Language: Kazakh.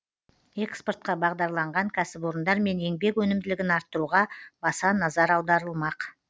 экспортқа бағдарланған кәсіпорындар мен еңбек өнімділігін арттыруға баса назар аударылмақ